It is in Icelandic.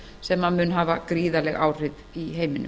og það mun hafa gríðarleg áhrif í heiminum